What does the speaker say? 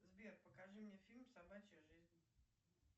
сбер покажи мне фильм собачья жизнь